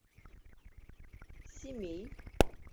семей